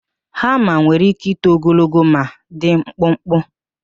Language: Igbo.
Hama nwere íké ito ogologo maọbụ dị mkpụkpụ.